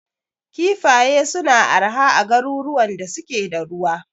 Kifaye suna arha a garuruwan da suke da ruwa.